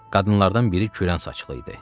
Qadınlardan biri kürən saçlı idi.